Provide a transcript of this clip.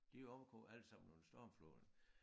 De omkom alle sammen under stormfloden